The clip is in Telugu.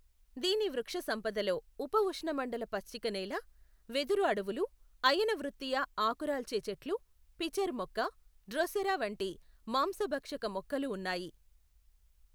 దీని వృక్షసంపదలో ఉప ఉష్ణమండల పచ్చిక నేల, వెదురు అడవులు, అయనవృత్తీయ ఆకురాల్చే చెట్లు, పిచర్ మొక్క, డ్రోసెరా వంటి మాంసభక్షక మొక్కలు ఉన్నాయి.